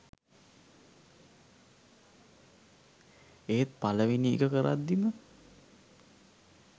ඒත් පළවෙනි එක කරද්දිම